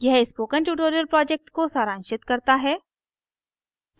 यह spoken tutorial project को सारांशित करता है